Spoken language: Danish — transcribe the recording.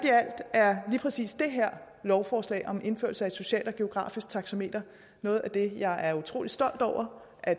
er lige præcis det her lovforslag om indførelse af et socialt og geografisk taxameter noget af det jeg er utrolig stolt over at